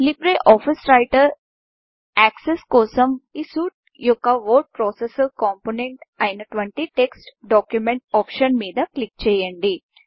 Libre Office Writer access కోసం ఈ suite యొక్క వర్డ్ ప్రాసెసర్ కాంపోనెంట్ అయినటువంటి text document text document option మీద క్లిక్ చేయండి